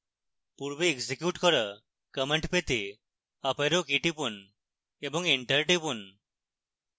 পূর্বে এক্সিকিউট করা command পেতে up arrow key টিপুন এবং enter টিপুন